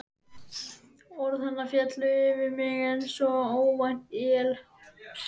Orð hennar féllu yfir mig einsog óvænt él.